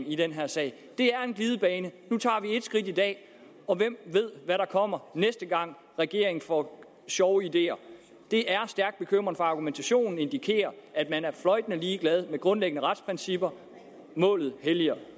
i den her sag det er en glidebane nu tager vi et skridt i dag og hvem ved hvad der kommer næste gang regeringen får sjove ideer det er stærkt bekymrende for argumentationen indikerer at man er fløjtende ligeglad med grundlæggende retsprincipper målet helliger